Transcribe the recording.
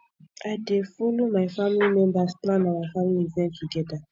i dey folo my family members plan our family event togeda